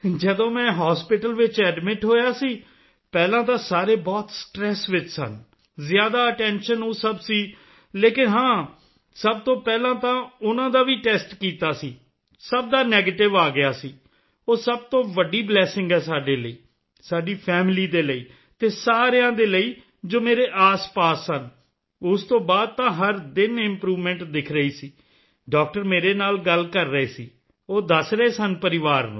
ਜਦੋਂ ਮੈਂ ਹਾਸਪਿਟਲ ਵਿੱਚ ਐਡਮਿਟ ਹੋਇਆ ਸੀ ਪਹਿਲਾਂ ਤਾਂ ਸਾਰੇ ਬਹੁਤ ਸਟ੍ਰੈਸ ਵਿੱਚ ਸਨ ਜ਼ਿਆਦਾ ਅਟੈਂਸ਼ਨ ਉਹ ਸਭ ਸੀ ਲੇਕਿਨ ਹਾਂ ਸਭ ਤੋਂ ਪਹਿਲਾਂ ਤਾਂ ਉਨ੍ਹਾਂ ਦਾ ਵੀ ਟੈਸਟ ਕੀਤਾ ਸੀ ਸਭ ਦਾ ਨੈਗੇਟਿਵ ਆ ਗਿਆ ਸੀ ਉਹ ਸਭ ਤੋਂ ਵੱਡੀ ਬਲੈਸਿੰਗ ਹੈ ਸਾਡੇ ਲਈ ਸਾਡੀ ਫੈਮਿਲੀ ਦੇ ਲਈ ਅਤੇ ਸਾਰਿਆਂ ਦੇ ਲਈ ਜੋ ਮੇਰੇ ਆਸਪਾਸ ਸਨ ਉਸ ਤੋਂ ਬਾਅਦ ਤਾਂ ਹਰ ਦਿਨ ਇੰਪਰੂਵਮੈਂਟ ਦਿਖ ਰਹੀ ਸੀ ਡਾਕਟਰ ਮੇਰੇ ਨਾਲ ਗੱਲ ਕਰ ਰਹੇ ਸੀ ਉਹ ਦੱਸ ਰਹੇ ਸਨ ਪਰਿਵਾਰ ਨੂੰ